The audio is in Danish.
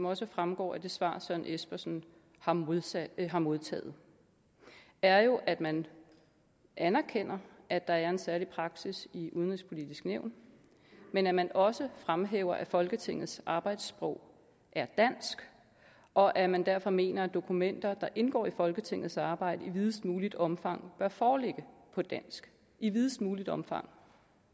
også fremgår af det svar herre søren espersen har modtaget har modtaget er jo at man anerkender at der er en særlig praksis i udenrigspolitisk nævn men at man også fremhæver at folketingets arbejdssprog er dansk og at man derfor mener at dokumenter der indgår i folketingets arbejde i videst muligt omfang bør foreligge på dansk i videst muligt omfang